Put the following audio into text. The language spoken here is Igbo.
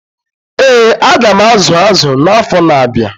Ee, aga m azu azụ na-afọ na-abịa.